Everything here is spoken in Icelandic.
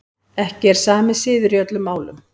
Ekki er sami siður í öllum málum.